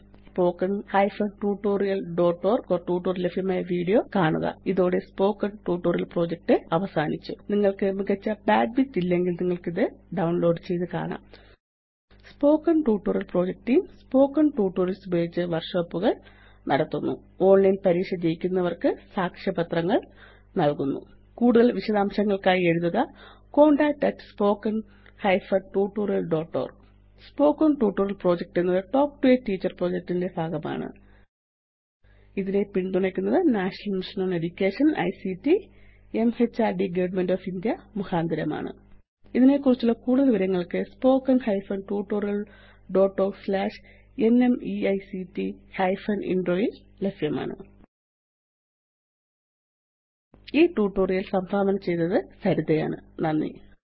httpspoken tutorialorgWhat is a Spoken Tutorial ല് ലഭ്യമായ video കാണുക ഇതോടെ സ്പോക്കൻ ട്യൂട്ടോറിയൽ പ്രൊജക്ട് അവസാനിച്ചു നിങ്ങള്ക്ക് മികച്ച ബാൻഡ്വിഡ്ത്ത് ഇല്ലെങ്കില് നിങ്ങള്ക്കത് ഡൌണ്ലോഡ് ചെയ്ത് കാണാം spoken tutorial project team spoken tutorials ഉപയോഗിച്ച് വര്ക്ഷോപ്പുകള് നടത്തുന്നു ഓണ്ലൈന് പരീക്ഷ ജയിക്കുന്നവര്ക്ക് സാക്ഷ്യപത്രങ്ങള് നല്കുന്നു കൂടുതല് വിശദാംശങ്ങള്ക്കായി എഴുതുക contactspoken tutorialorg spoken tutorial project എന്നത് talk to a teacher project ന്റെ ഒരു ഭാഗമാണ് ഇതിനെ പിന്തുണയ്ക്കുന്നത് national mission on education ICT M H R D government of India മുഖാന്തരമാണ് ഇതിനെക്കുറിച്ചുള്ള കൂടുതല് വിവരങ്ങള് spoken hyphen tutorial dot org slash ന്മെയ്ക്തിഫെൻ ഇൻട്രോ യില് ലഭ്യമാണ് ഈ ട്യൂട്ടോറിയൽ സംഭാവന ചെയ്തത് സരിത ആണ് നന്ദി